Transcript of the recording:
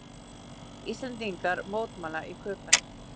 Íslendingar mótmæla í Köben